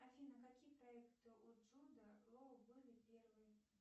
афина какие проекты у джуда лоу были первые